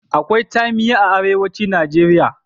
Akwai tsamiya a Arewacin Najeriya.